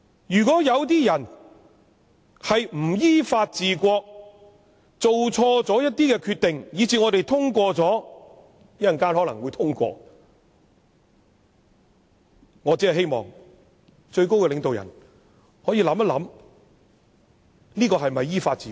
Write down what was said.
如果有些人不依法治國，做錯決定，以致我們稍後可能會通過《條例草案》，我只希望最高領導人可以想想這是否依法治國。